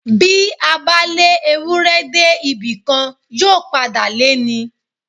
Bí a bá lé Ewúrẹ́ dé ibì kan, yóò padà lé ni.